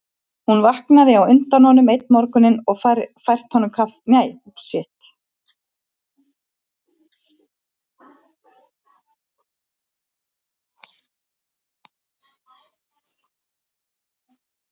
Hún hafði vaknað á undan honum einn morguninn og fært honum kaffi í rúmið.